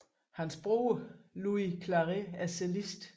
Hans bror Lluís Claret er cellist